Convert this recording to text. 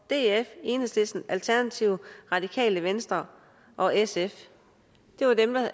df enhedslisten alternativet radikale venstre og sf det var dem der